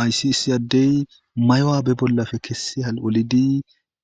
Aysi isi addey mayowa be bollafe kessi hal'olidi